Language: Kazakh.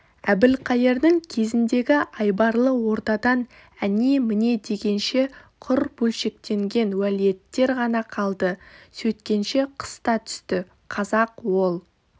әбілқайырдың кезіндегі айбарлы ордадан әне-мінедегенше құр бөлшектенген уәлиеттер ғана қалды сөйткенше қыс та түсті қазақ ол